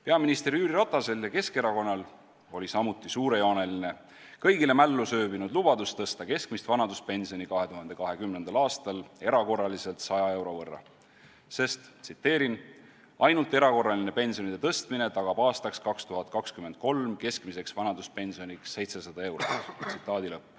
Peaminister Jüri Ratasel ja Keskerakonnal oli samuti suurejooneline, kõigile mällu sööbinud lubadus tõsta keskmist vanaduspensioni 2020. aastal erakorraliselt 100 euro võrra, sest: "ainult erakorraline pensionide tõstmine tagab aastaks 2023 keskmiseks vanaduspensioniks 700 eurot".